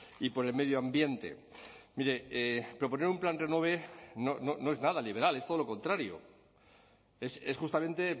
y por el medio ambiente mire proponer un plan renove no es nada liberal es todo lo contrario es justamente